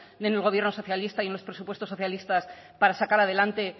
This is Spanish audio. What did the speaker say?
en el gobierno socialista y en los presupuestos socialistas para sacar adelante